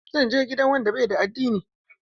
Zan je gidan wanda bai da addini.